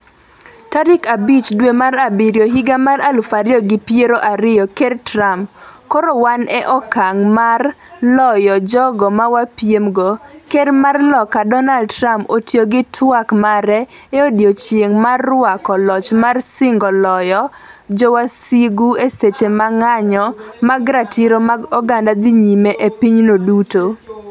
tarik abich dwe mar abiriyo higa mar aluf ariyo gi piero ariyo ker Trump: "Koro wan e okang' mar loyo jogo mawapiem go" Ker mar Loka Donald Trump otiyo gi twak mare e odiechieng' mar rwako Loch mar singo loyo jowasigu e seche ma ng'anyo mag ratiro mag oganda dhi nyime e pinyno duto.